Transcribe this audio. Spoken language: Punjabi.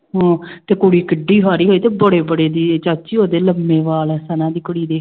ਹਾਂ ਤੇ ਕੁੜੀ ਕਿੱਢੀ ਸਾਰੀ ਸੀ ਤੇ ਬੜੇ ਬੜੇ ਵੀ ਚਾਚੀ ਉਹਦੇ ਲੰਮੇ ਵਾਲ ਸਨਾ ਦੀ ਕੁੜੀ ਦੇ